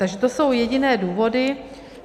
Takže to jsou jediné důvody.